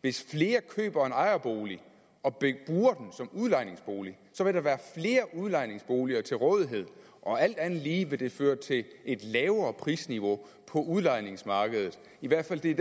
hvis flere køber en ejerbolig og bruger den som udlejningsbolig vil der være flere udlejningsboliger til rådighed og alt andet lige vil det føre til et lavere prisniveau på udlejningsmarkedet i hvert fald